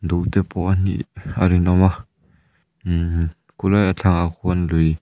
duh te pawh anih a rinawm a mmm khulai a thlangah khuan lui --